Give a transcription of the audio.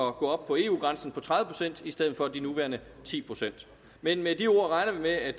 at gå op på eu grænsen på tredive procent i stedet for de nuværende ti procent med med de ord regner vi med at